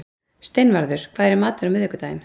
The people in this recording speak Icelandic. Steinvarður, hvað er í matinn á miðvikudaginn?